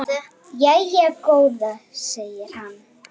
Viltu fleiri pistla frá Kristni?